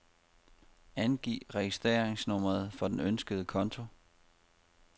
Angiv registreringsnummeret for den ønskede konto.